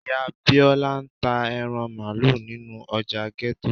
ìyá Bíọ́lá ń ta ẹran Máálú nínú ọjà ghetto.